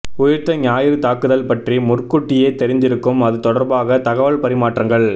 உயிர்த்த ஞாயிறு தாக்குதல் பற்றி முற்கூட்டியே தெரிந்திருந்தும் அது தொடர்பாக தகவல் பரிமாற்றங்கள்